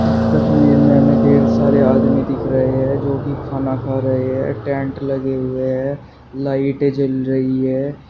इस तस्वीर हमें ढेर सारे आदमी दिख रहे हैं जो कि खाना खा रहे हैं टेंट लगे हुए हैं लाइटे जल रही है।